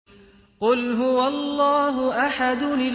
قُلْ هُوَ اللَّهُ أَحَدٌ